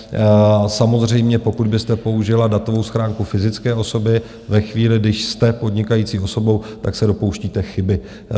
Samozřejmě, pokud byste použila datovou schránku fyzické osoby ve chvíli, kdy jste podnikající osobou, tak se dopouštíte chyby.